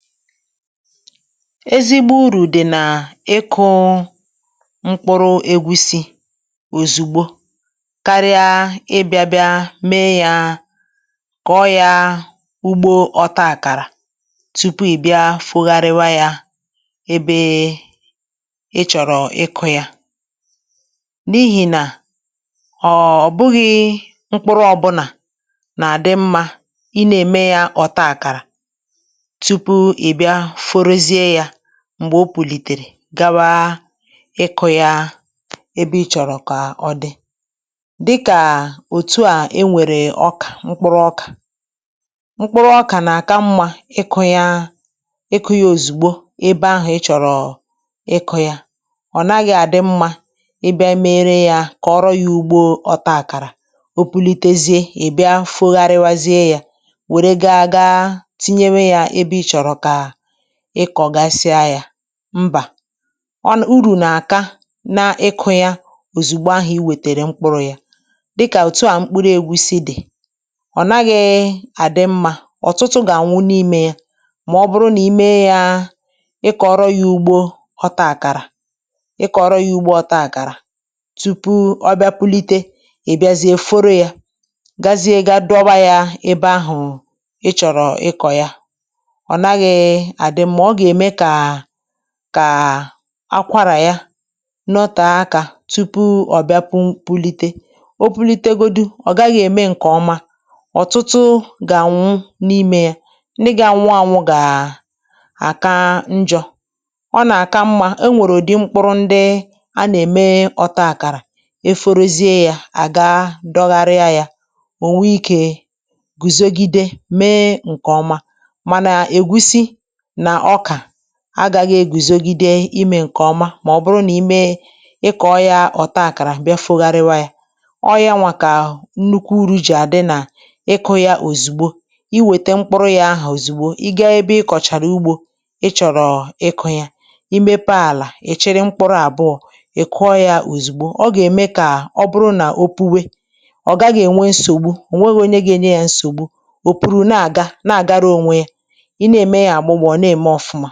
Ezigbo urù dì n’ịkụ̄ mkpuru ègtusi òzùgbo karịa ịbị̄a bịa mee ya kọ̀ yā ugbo ọ̀taàkàrà tupu ị̀ bịa fogharịwa yā ebe ị chọ̀rọ̀ ịkụ̄ ya n’ihì nà ọ̀ bụghị̄ mkpuru ọ̀bụlà nà àdị mmā ị nā-ème ya ọ̀ta àkàrà tupu ị̀ bịa forozie yā m̀gbè o pùlìtèrè gawa ịkụ̄ ya ebe ị chọ̀rọ̀ kà ọ dị dịkà òtu a e nwèrè ọkà mkpuru ọkà mkpuru ọkà nà-àka mmā ịkụ̄ ya ịkụ̄ ya òzigbo ebe ahụ̀ ịchọ̀rọ̀ ịkụ̄ ya ọ̀ naghị̄ àdị mmā ịbịa mere yā kòrò ya ugbo ọtā àkàrà o pulitezie ị bịa foghariwazie yā wère gaā gaa tinye yā ebe ị chọ̀rọ̀ kà ịkọ̀gasịa yā mbà ọ nà urù nà-àka na ịkụ̄ yā òzùgbo ahụ ị wètèrè mkpuru ya dịkà òtu a mkpuru ègusi dị̀ ọ̀ naghị àdị mmā ọ̀tụtụ gà-ànwụ n’imē ya mà ọ bụrụ nà ime yā ịkọ̀rọ yā ugbō ghọta àkàrà ịkọ̀rọ yā ugbo ọ̀ta àkàrà tupu ọ bịa pulite ị̀ bịazie forō ya gazie ga dọwa yā ebe ahụ̀ ị chọ̀rọ̀ ịkọ̀ ya ọ̀ naghị àdị mmā ọ gà-ème kà ka akwārà ya nọtè akā tupu ọ̀ bịa pu pulite o pulite godu ọ̀ gaghị ème ǹkè ọma ọ̀tụtụ gà-ànwụ n’imē ya ndị ga-anwụ ànwụ gà àka njọ̄ ọ nà-àka mmā e nwèrè ụ̀dị mkpuru ndị a nà-ème ọ̀ta àkàrà e forozie yā à gaa dọgharịa yā ò nwee ikē gùzogide mee ǹkè ọma mànà ègusi nà ọkà agāghị e gùzogide imē ǹkè ọma mà ọ bụrụ nà ime ịkọ ya ọ̀ta àkàrà bịa fogharịwa ya ọ yawa kà nnukwu uru gì àdị nà ịkụ̄ ya òzùgbo i wète mkpuru ya ahụ òzugbo ị gaa ebe ị kọ̀chàrà ugbō ị chọ̀rọ̀ ịkụ ya i mepe àlà ì chịrị mkpuru àbụọ ì kụọ ya òzùgbo ọ gà-eme kà ọ bụrụ nà o puwe ọ̀ gaghị̄ ènwe nsògbu ò nweghī onye ga-enye ya nsògbu ò puru na-àga na-àgara ònwe yā i na-ème ya àgbụgbụ̀ ọ na-ème ọ̀fụma